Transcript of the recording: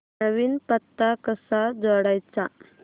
नवीन पत्ता कसा जोडायचा